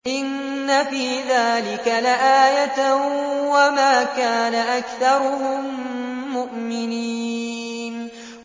إِنَّ فِي ذَٰلِكَ لَآيَةً ۖ وَمَا كَانَ أَكْثَرُهُم مُّؤْمِنِينَ